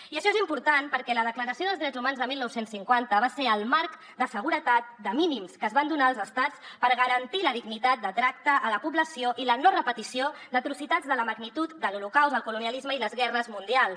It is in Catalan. i això és important perquè la declaració dels drets humans de dinou cinquanta va ser el marc de seguretat de mínims que es van donar els estats per garantir la dignitat de tracte a la població i la no repetició d’atrocitats de la magnitud de l’holocaust el colonialisme i les guerres mundials